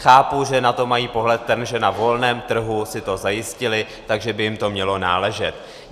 Chápu, že na to mají pohled ten, že na volném trhu si to zajistili, takže by jim to mělo náležet.